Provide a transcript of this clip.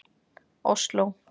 Osló